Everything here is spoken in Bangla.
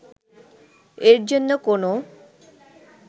এর জন্য কোনও